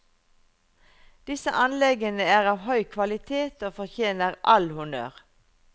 Disse anleggene er av høy kvalitet og fortjener all honnør.